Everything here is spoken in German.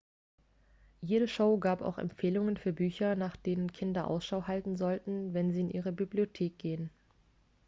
jede show gab auch empfehlungen für bücher nach denen kinder ausschau halten sollten wenn sie in ihre bibliothek gehen